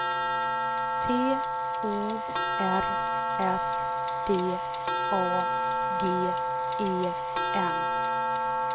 T O R S D A G E N